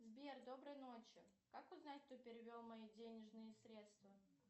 сбер доброй ночи как узнать кто перевел мои денежные средства